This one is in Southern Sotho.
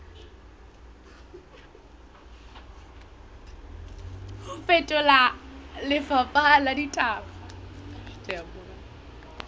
ho fetola lefapha la ditaba